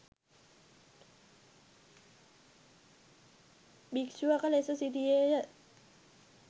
භික්‍ෂුවක ලෙස සිටියේය